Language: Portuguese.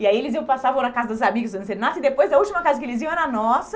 E aí eles passavam na casa dos amigos fazendo serenata e depois a última casa que eles iam era a nossa.